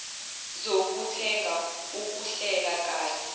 zokuthenga ukuhlela kabi